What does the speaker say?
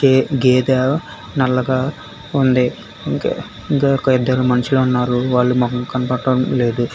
ఈ గేద నల్లగా ఉంది ఇంక్ ఇంకా ఒక ఇద్దరు మనుషులు ఉన్నారు వాళ్ల మొకం కనపడటం లేదు.